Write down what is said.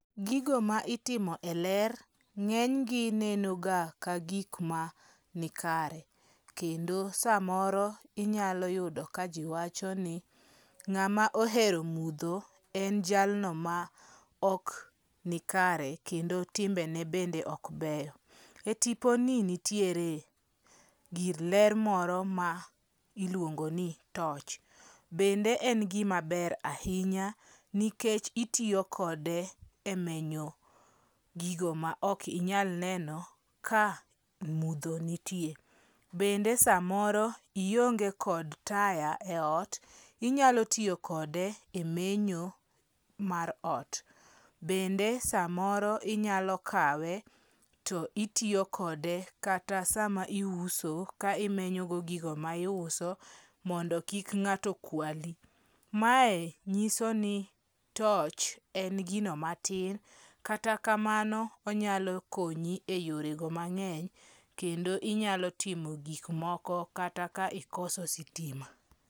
Gigo ma itimo e ler nge'nygi neno ga ka gik ma nikare, kendo samoro inyalo yudo ka ji wachoni nga'ma ohero mutho en jalno ma ok nikare kendo timbene bende ok ber, e tiponi nitiere gir ler moro ma iluongo ni torch, bende en gimaber ahinya nikech itiyo kode e menyo gigo ma okinyal neno ka mutho nitie bende samoro ionge' kod taya e ot, inyalo tuyokode e menyo mar ot, bende samoro inyalo kawe to itiyokode kata sama iuso ka imenyogo gigo ma iuso mondo kik nga'to kwali, mae nyisoni torch en gino matin to kata kamano onyalo konyi e yorego mange'ny kendo inyalo timo gik moko kata ka ikoso sitima